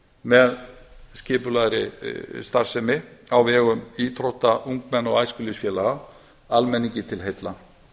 með skipulegri starfsemi á vegum íþrótta ungmenna og æskulýðsfélaga almenningi til heilla